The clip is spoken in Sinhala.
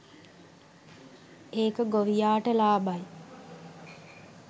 ඒක ගොවියාට ලාබයි